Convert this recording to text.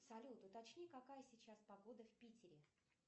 салют уточни какая сейчас погода в питере